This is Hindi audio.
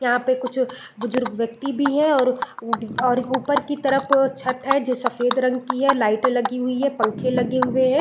यहाँ पर कुछ बुजुर्ग व्यक्ति भी है और और ऊपर की तरफ छत है जो सफेद रंग की है लाइटे लगी हुई है पंखे लगे हुए है।